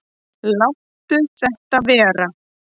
Láttu þetta vera!